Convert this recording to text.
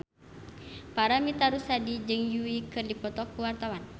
Paramitha Rusady jeung Yui keur dipoto ku wartawan